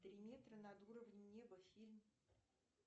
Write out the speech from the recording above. три метра над уровнем неба фильм